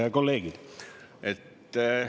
Head kolleegid!